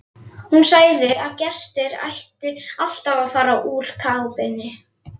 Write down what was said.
Hún sagði að gestir ættu alltaf að fara úr kápunni.